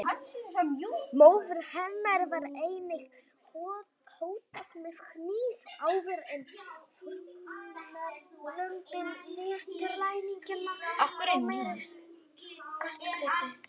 Móður hennar var einnig hótað með hníf áður en fórnarlömbin létu ræningjana fá meiri skartgripi.